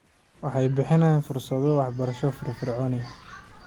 Waxay bixiyaan fursado waxbarasho firfircoon.